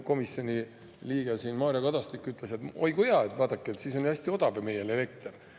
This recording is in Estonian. Komisjoni liige Mario Kadastik siin ütles, et oi kui hea, vaadake, siis on meil ju hästi odav elekter.